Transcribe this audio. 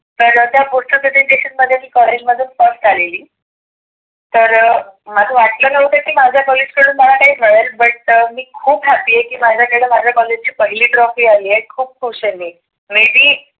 तर त्या मी कॉलेज मधुन first आलेली. तर मला वाटल नव्हत की माझ्या कॉलेज कडून मला काही मिळेल. but मी खुप happy आहे. की माझ्या माझ्या कॉलेज ची पहिली trophy आली आहे. खुप खुश आहे मी. maybe